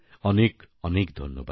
অনেক অনেক ধন্যবাদ